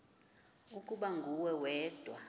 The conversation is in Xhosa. ukuba nguwe wedwa